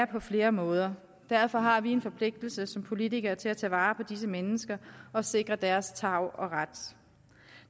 på flere måder derfor har vi en forpligtelse som politikere til at tage vare på disse mennesker og sikre deres tarv og ret